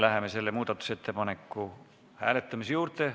Läheme selle hääletamise juurde.